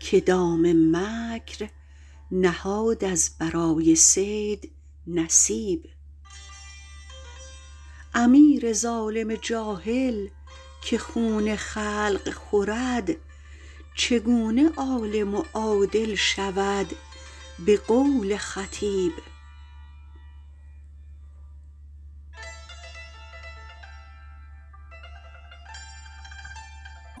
که دام مکر نهاد از برای صید نصیب امیر ظالم جاهل که خون خلق خورد چگونه عالم و عادل شود به قول خطیب